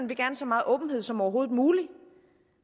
vil have så meget åbenhed som overhovedet muligt